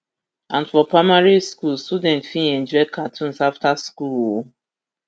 and for primary school students fit enjoy cartoons afta school um